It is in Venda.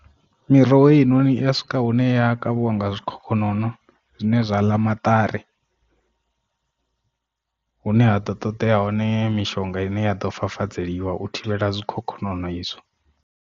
Miroho heinoni i ya swika hune ya kavhiwa nga zwikhokhonono zwine zwa ḽa maṱari hune, ha ḓo ṱoḓea hone mishonga ine ya ḓo fafadzeliwa u thivhela zwikhokhonono izwo.